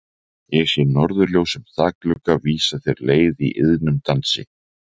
Ég sé norðurljós um þakglugga vísa þér leið í iðnum dansi.